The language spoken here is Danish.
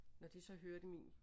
Når de så hørte min